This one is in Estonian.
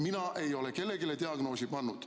Mina ei ole kellelegi diagnoosi pannud.